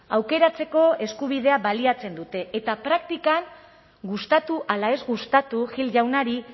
aukeratzeko eskubidea baliatzen dute eta praktikan gustatu ala ez gustatu gil jaunari